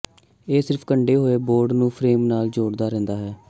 ਇਹ ਸਿਰਫ ਕੰਢੇ ਹੋਏ ਬੋਰਡ ਨੂੰ ਫ੍ਰੇਮ ਨਾਲ ਜੋੜਦਾ ਰਹਿੰਦਾ ਹੈ